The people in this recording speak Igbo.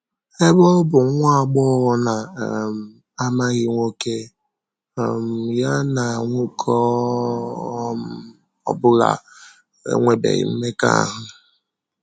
Ebe ọ bụ nwa agbọghọ na um - amaghị nwoke, um ya na ‘ nwoke ọ um bụla enwebeghị mmekọahụ. ’